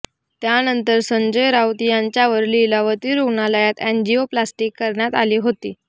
त्यानंतर संजय राऊत यांच्यावर लीलावती रूग्णालयात अँजिओप्लास्टी करण्यात आली होती